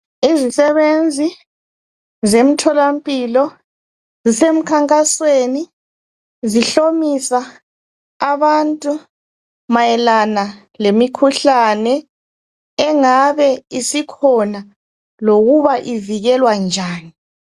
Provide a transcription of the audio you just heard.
Izisebenzi zemtholampilo zisemkhankasweni zihlomisa abantu mayelana lemikhuhlane engabe isikhona lokuba ivikelwa njani.